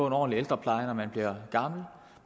en ordentlig ældrepleje når man bliver gammel